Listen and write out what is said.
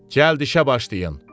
Cəld işə başlayın.